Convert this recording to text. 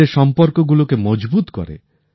নিজেদের সম্পর্কগুলোকে মজবুত করে